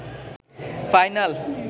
final